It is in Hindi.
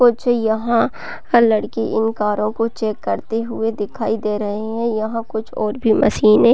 कुछ यहाँ हर लड़की इन कारों को चेक करते हुए दिखाई दे रहै हैं यहाँ कुछ और भी मशीने --